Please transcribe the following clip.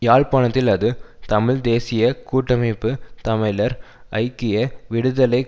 யாழ்ப்பாணத்தில் அது தமிழ் தேசிய கூட்டமைப்பு தமிழர் ஐக்கிய விடுதலை